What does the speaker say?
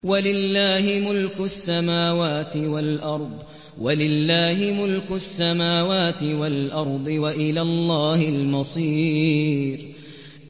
وَلِلَّهِ مُلْكُ السَّمَاوَاتِ وَالْأَرْضِ ۖ وَإِلَى اللَّهِ الْمَصِيرُ